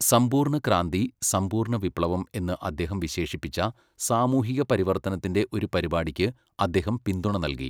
സമ്പൂർണ്ണ ക്രാന്തി, 'സമ്പൂർണ്ണ വിപ്ലവം' എന്ന് അദ്ദേഹം വിശേഷിപ്പിച്ച സാമൂഹിക പരിവർത്തനത്തിന്റെ ഒരു പരിപാടിക്ക് അദ്ദേഹം പിന്തുണ നൽകി.